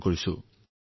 আহক এটা phone call শুনো